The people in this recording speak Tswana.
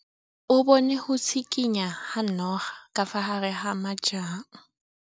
O bone go tshikinya ga noga ka fa gare ga majang.